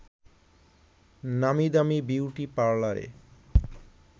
নামি-দামি beauty পার্লারে